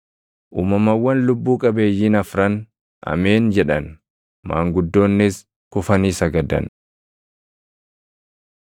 Uumamawwan lubbuu qabeeyyiin afran, “Ameen” jedhan; maanguddoonnis kufanii sagadan.